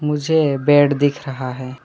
मुझे बेड दिख रहा है।